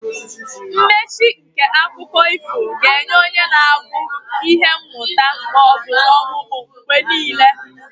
Mmechi nke akụkọ ifo ga-enye onye na-agụ ihe mmụta ma ọ bụ omume mgbe niile.